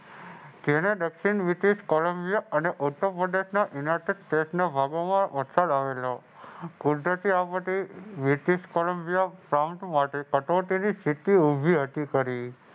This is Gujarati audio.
દક્ષિણ બ્રિટિશ કોલંબિયા અને યુનાઈટેડ સ્ટેટને વાગોવવા વરસાદ આવેલો. કુદરતી આફતે બ્રિટિશ કોલંબિયા માટે કટોતીની સ્થિતિ ઊભી હતી કરી.